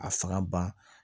A faga ba